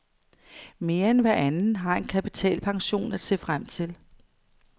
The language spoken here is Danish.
Mere end hver anden har en kapitalpension at se frem til.